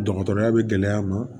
Dɔgɔtɔrɔya bɛ gɛlɛya ma